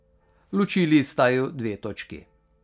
Ločili sta ju dve točki.